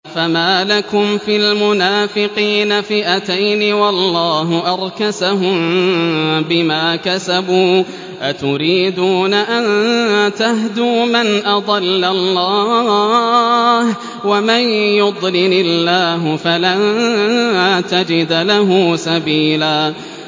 ۞ فَمَا لَكُمْ فِي الْمُنَافِقِينَ فِئَتَيْنِ وَاللَّهُ أَرْكَسَهُم بِمَا كَسَبُوا ۚ أَتُرِيدُونَ أَن تَهْدُوا مَنْ أَضَلَّ اللَّهُ ۖ وَمَن يُضْلِلِ اللَّهُ فَلَن تَجِدَ لَهُ سَبِيلًا